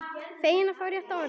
Feginn er ekki rétta orðið.